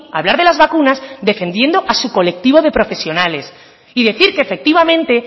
a hablar de las vacunas defendiendo a su colectivo de profesionales y decir que efectivamente